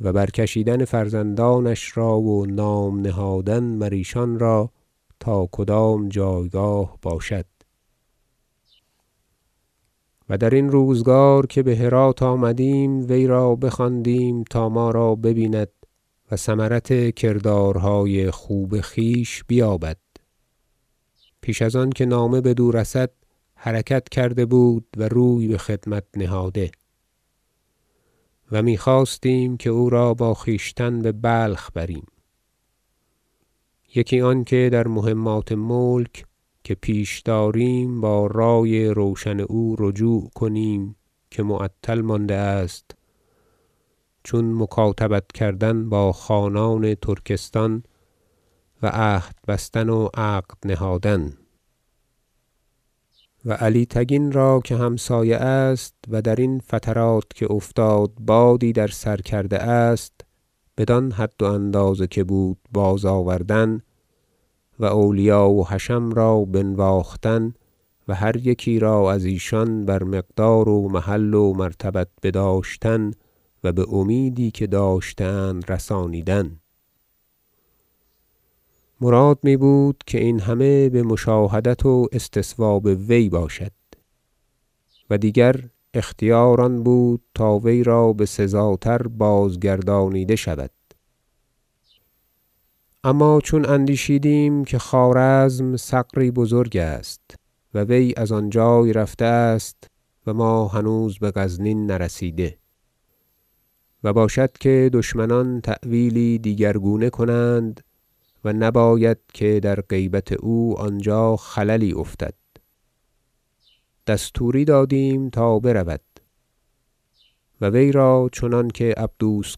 و برکشیدن فرزندانش را و نام نهادن مر ایشان را تا کدام جایگاه باشد و درین روزگار که بهرات آمدیم وی را بخواندیم تا ما را ببیند و ثمرت کردارهای خوب خویش بیابد پیش از آنکه نامه بدو رسد حرکت کرده بود و روی بخدمت نهاده و میخواستیم که او را با خویشتن ببلخ بریم یکی آنکه در مهمات ملک که پیش داریم با رأی روشن او رجوع کنیم که معطل مانده است چون مکاتبت کردن با خانان ترکستان و عهد بستن و عقد نهادن و علی تگین را که همسایه است و درین فترات که افتاد بادی در سر کرده است بدان حد و اندازه که بود بازآوردن و اولیا و حشم را بنواختن و هر یکی را از ایشان بر مقدار و محل و مرتبت بداشتن و به امیدی که داشته اند رسانیدن مراد میبود که این همه بمشاهدات و استصواب وی باشد و دیگر اختیار آن بود تا وی را بسزاتر بازگردانیده شود اما چون اندیشیدیم که خوارزم ثغری بزرگ است و وی از آنجای رفته است و ما هنوز بغزنین نرسیده و باشد که دشمنان تأویلی دیگر گونه کنند و نباید که در غیبت او آنجا خللی افتد دستوری دادیم تا برود و وی را چنانکه عبدوس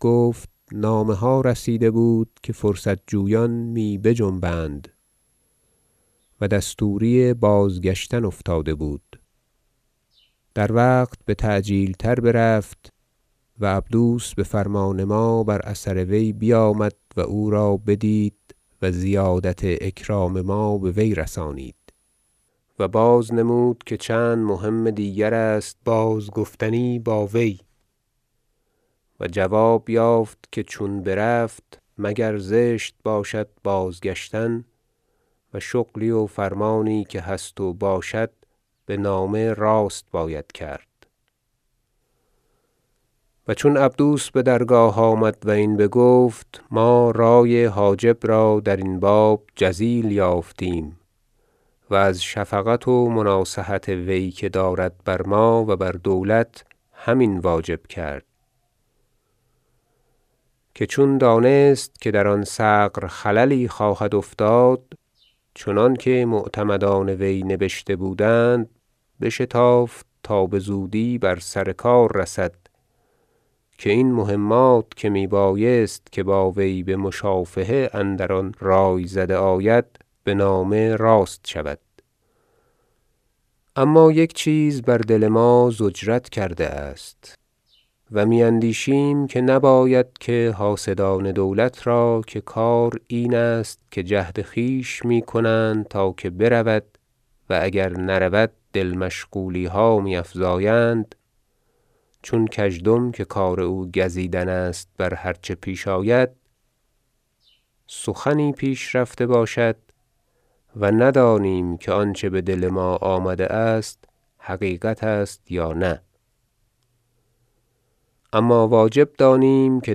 گفت نامه ها رسیده بود که فرصت جویان می بجنبند و دستوری بازگشتن افتاده بود در وقت بتعجیل تر برفت و عبدوس بفرمان ما بر اثر وی بیامد و او را بدید و زیادت اکرام ما به وی رسانید و بازنمود که چند مهم دیگرست بازگفتنی با وی و جواب یافت که چون برفت مگر زشت باشد بازگشتن و شغلی و فرمانی که هست و باشد بنامه راست باید کرد و چون عبدوس بدرگاه آمد و این بگفت ما رأی حاجب را درین باب جزیل یافتیم و از شفقت و مناصحت وی که دارد بر ما و بر دولت هم این واجب کرد که چون دانست که در آن ثغر خللی خواهد افتاد چنانکه معتمدان وی نبشته بودند بشتافت تا بزودی بر سر کار رسد که این مهمات که میبایست که با وی بمشافهه اندر آن رأی زده آید به نامه راست شود اما یک چیز بر دل ما ضجرت کرده است و میاندیشیم که نباید که حاسدان دولت را - که کار این است که جهد خویش میکنند تا که برود و اگر نرود دل مشغولیها می افزایند چون کژدم که کار او گزیدن است بر هر چه پیش آید- سخنی پیش رفته باشد و ندانیم که آنچه به دل ما آمده است حقیقت است یا نه اما واجب دانیم که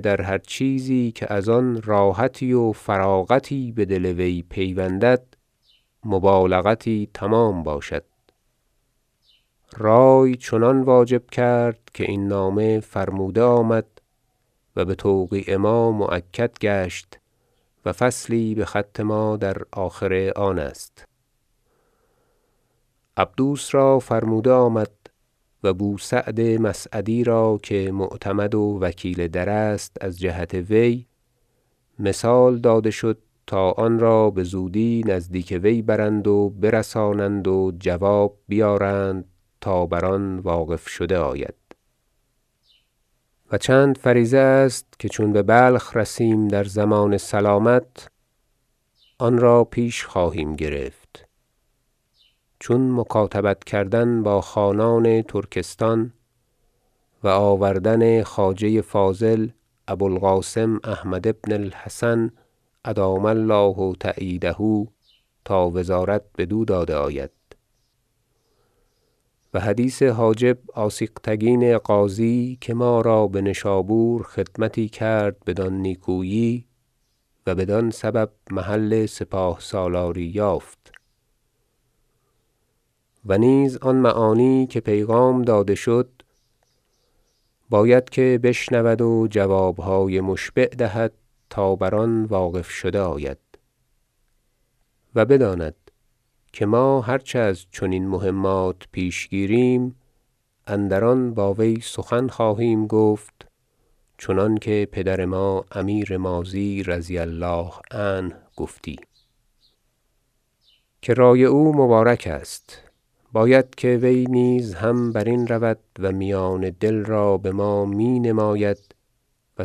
در هر چیزی از آن راحتی و فراغتی به دل وی پیوندد مبالغتی تمام باشد رأی چنان واجب کرد که این نامه فرموده آمد و بتوقیع ما مؤکد گشت و فصلی بخط ما در آخر آن است عبدوس را فرموده آمد و بوسعد مسعدی را که معتمد و وکیل در است از جهت وی مثال داده شد تا آنرا بزودی نزدیک وی برند و برسانند و جواب بیارند تا بر آن واقف شده آید و چند فریضه است که چون ببلخ رسیم در ضمان سلامت آن را پیش خواهیم گرفت چون مکاتبت کردن با خانان ترکستان و آوردن خواجه فاضل ابوالقاسم احمد بن الحسن ادام الله تأییده تا وزارت بدو داده آید و حدیث حاجب آسیغتگین غازی که ما را بنشابور خدمتی کرد بدان نیکویی و بدان سبب محل سپاه سالاری یافت و نیز آن معانی که پیغام داده شد باید که بشنود و جوابهای مشبع دهد تا بر آن واقف شده آید و بداند که ما هر چه از چنین مهمات پیش گیریم اندران با وی سخن خواهیم گفت چنانکه پدر ما امیر ماضی رضی الله عنه گفتی که رأی او مبارک است باید که وی نیز هم برین رود و میان دل را به ما می نماید و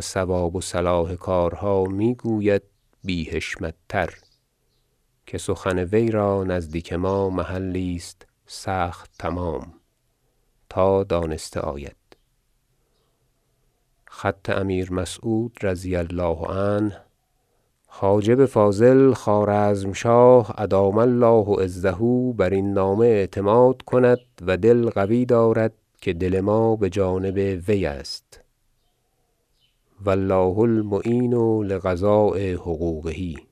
صواب و صلاح کارها میگوید بی حشمت تر که سخن وی را نزدیک ما محلی است سخت تمام تا دانسته آید خط امیر مسعود رضی الله عنه حاجب فاضل خوارزم شاه ادام الله عزه برین نامه اعتماد کند و دل قوی دارد که دل ما بجانب وی است و الله المعین لقضاء حقوقه